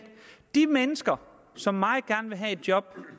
de mennesker som meget gerne vil have et job